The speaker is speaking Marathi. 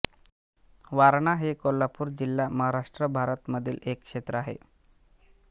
वारणा हे कोल्हापूर जिल्हा महाराष्ट्र भारत मधील एक क्षेत्र आहे